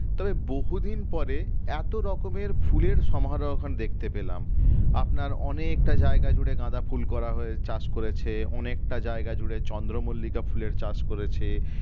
তবে বহুদিন পরে এত রকমের ফুলের দেখতে পেলাম আপনার অনেকটা জায়গা জুড়ে গাঁদা ফুল করা হয়ে চাষ করেছে অনেকটা জায়গা জুড়ে চন্দ্রমল্লিকা ফুলের চাষ করেছে